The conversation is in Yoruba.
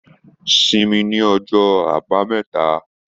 Sinmi ní ọjọ àbámẹ́ta!